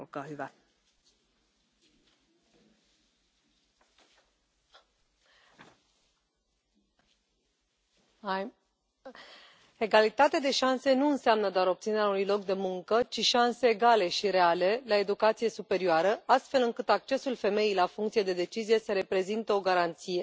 Doamnă președintă, egalitatea de șanse nu înseamnă doar obținerea unui loc de muncă, ci șanse egale și reale la educația superioară, astfel încât accesul femeii la funcțiile de decizie să reprezinte o garanție.